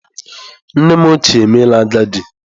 Nnem ochie emeela agadi.